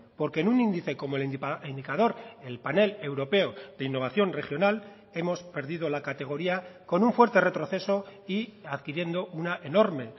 porque en un índice como el indicador el panel europeo de innovación regional hemos perdido la categoría con un fuerte retroceso y adquiriendo una enorme